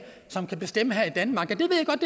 bestemme her i danmark